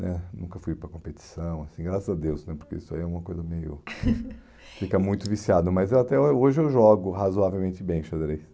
Né nunca fui para competição assim, graças a Deus né, porque isso aí é uma coisa meio... Fica muito viciado, mas eu até hoje eu jogo razoavelmente bem xadrez.